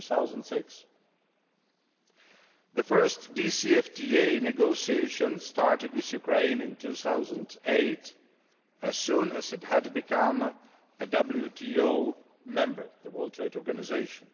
2006. The first DCFTA negotiations started with Ukraine in 2008 as soon as it had become a member of the WTO, the World Trade Organization.